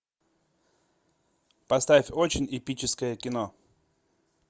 поставь очень эпическое кино